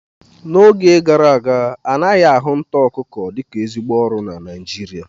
N'oge gara aga anaghị ahụ nta akụkọ dịka ezigbo ọrụ na Naịjirịa